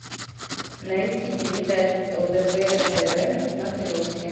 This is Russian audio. найти передачу лдпр тв на смотрешке